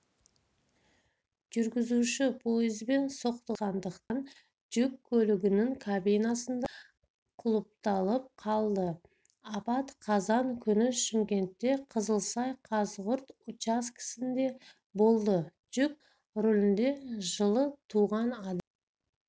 жүргізуші пойызбен соқтығысқандықтан жүк көлігінің кабинасында құлыпталып қалды апат қазан күні шымкентте қызылсай-қазығұрт учаскесінде болды жүк көлігінің рулінде жылы туған адам